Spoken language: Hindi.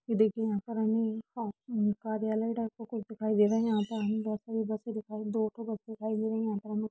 ये देखिये यहाँ पर हमे क हम्म कार्यालय टाइप का कुछ दिखाई दे रहा है यहाँ पर हमे बहुत सारी बसे दिखाई दो ठो बसे दिखाई दे रही हैं यहाँ पे हमे --